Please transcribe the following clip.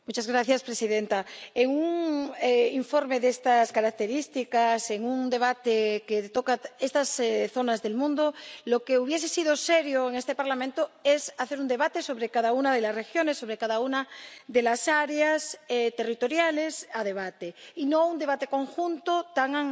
Señora presidenta, en un informe de estas características, en un debate que toca estas zonas del mundo, lo que hubiese sido serio en este Parlamento es hacer un debate sobre cada una de las regiones, sobre cada una de las áreas territoriales sobre las que se está debatiendo y no un debate conjunto tan